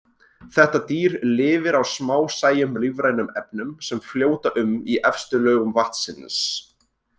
Þetta dýr lifir á smásæjum lífrænum efnum sem fljóta um í efstu lögum vatnsins.